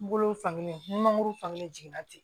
N bolo fankelen ni mangoro fankelen jiginna ten